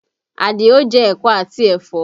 Àdìó jẹ ẹ̀kọ́ àti ẹ̀fọ́